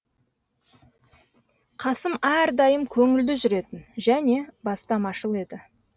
қасым әрдайым көңілді жүретін және бастамашыл еді